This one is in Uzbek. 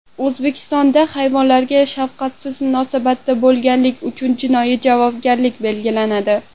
O‘zbekistonda hayvonlarga shafqatsiz munosabatda bo‘lganlik uchun jinoiy javobgarlik belgilanadi.